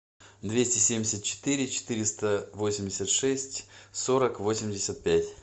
двести семьдесят четыре четыреста восемьдесят шесть сорок восемьдесят пять